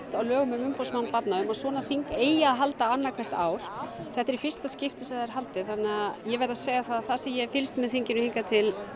á lögum um umboðsmann barna um að svona þing eigi að halda annað hvert ár þetta er í fyrsta skiptið sem það er haldið þannig að ég verð að segja það að það sem ég hef fylgst með þinginu hingað til